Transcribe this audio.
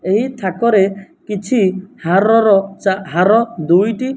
ଏହି ଥାକରେ କିଛି ହାରର ଚା ହାର ଦୁଇଟି --